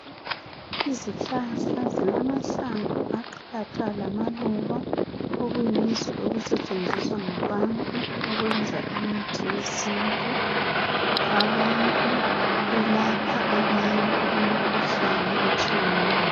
Izihlahla zilamahlamvu aqatha lamaluba okuyizo okusetshenziswa ngabantu ukwenza imithi yesintu, abantu belapha abantu imikhuhlane etshiyeneyo.